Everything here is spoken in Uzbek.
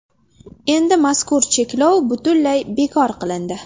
Endi mazkur cheklov butunlay bekor qilindi.